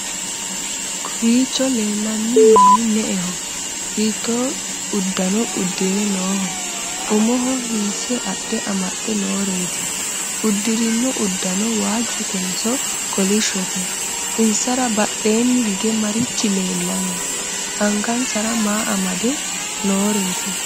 kowiicho leellanni manni me'eho? hiitto uddanno uddire nooho? umo hiisse adhe amaxxe nooreeti? uddirino uddano waajjotenso kolishshote? insara badheenni hige marichi leellanni? angansara ma amade nooreeti?